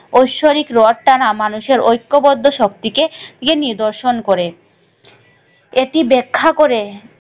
ঐশ্বরিক রথ টানা মানুষের ঐক্যবদ্ধ শক্তিকে নিদর্শন করে এটি ব্যাখ্যা করে,